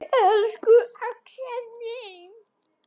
Elsku Axel minn.